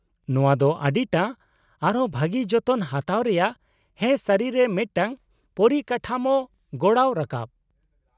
-ᱱᱚᱶᱟ ᱫᱚ ᱟᱹᱰᱤᱴᱟ , ᱟᱨᱦᱚᱸ ᱵᱷᱟᱹᱜᱤ ᱡᱚᱛᱚᱱ ᱦᱟᱛᱟᱣ ᱨᱮᱭᱟᱜ ᱦᱮᱸ ᱥᱟᱹᱨᱤ ᱨᱮ ᱢᱤᱫᱴᱟᱝ ᱯᱚᱨᱤᱠᱟᱴᱷᱟᱢᱳ ᱜᱚᱲᱟᱣ ᱨᱟᱠᱟᱵ ᱾